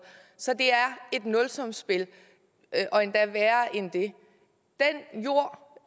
så det er et nulsumsspil og endda værre end det den jord